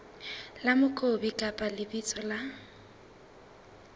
la mokopi kapa lebitso la